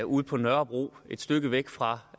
ude på nørrebro et stykke væk fra